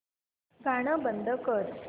गाणं बंद कर